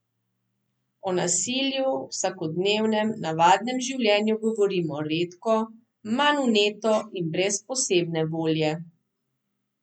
O nasilju v vsakodnevnem, navadnem življenju govorimo redko, manj vneto in brez posebne volje.